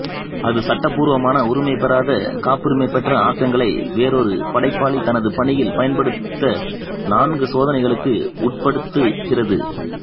அது சட்டபூர்வமானஉரிமைபெறாத காப்புரிமை பெற்ற ஆக்கங்களை வேறொரு படைப்பாளி தனது பணியில் பயன்படுத்த நான்கு சோதனைகளுக்கு உட்படுத்துகிறது